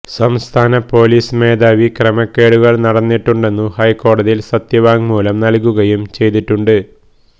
സംസ്ഥാന പൊലീസ് മേധാവി ക്രമക്കേടുകൾ നടന്നിട്ടുണ്ടെന്നു ഹൈക്കോടതിയിൽ സത്യവാങ്മൂലം നൽകുകയും ചെയ്തിട്ടുണ്ട്